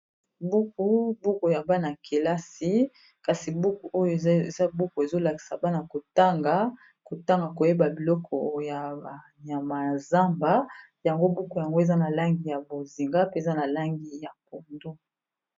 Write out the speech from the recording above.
Buku buku ya bana ykelasi kasi buku oyo eza buku ezolakisa bana kotanga kotanga koyeba biloko ya banyama ya zamba yango buku yango eza na langi ya bozinga, mpe eza na langi ya pondo.